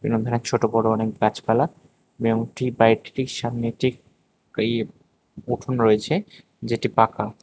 এরম ধরনের ছোট বড়ো অনেক গাছপালা এবং টি বাড়িটির ঠিক সামনে একটি ইয়ে উঠোন রয়েছে যেটি পাকা।